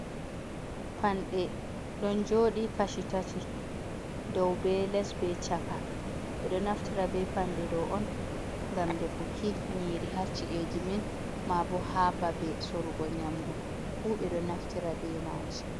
Panɗe ɗon joɗi Kashi tati dow be les be chaka, ɓe ɗo naftira be panɗe ɗo on gam defuki nyiri ha ci eji men, ma bo ha babe sorugo nyamdu fuu ɓe ɗo naftira be maji.